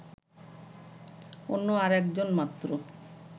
অন্য আর একজন মাত্র